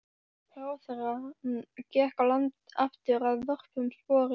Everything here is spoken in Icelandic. Ráðherrann gekk á land aftur að vörmu spori.